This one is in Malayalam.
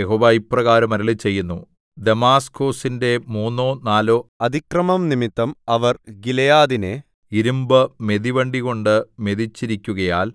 യഹോവ ഇപ്രകാരം അരുളിച്ചെയ്യുന്നു ദമാസ്കൊസിന്റെ മൂന്നോ നാലോ അതിക്രമംനിമിത്തം അവർ ഗിലെയാദിനെ ഇരിമ്പുമെതിവണ്ടികൊണ്ട് മെതിച്ചിരിക്കുകയാൽ